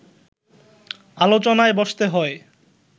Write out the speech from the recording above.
আলোচনায় বসতে হয়